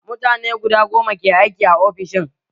Mutane guda goma ke aiki a ofishin